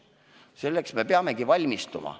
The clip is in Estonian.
Selleks me peamegi valmistuma.